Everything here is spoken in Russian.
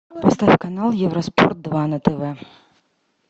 поставь канал евроспорт два на тв